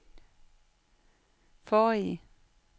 forrige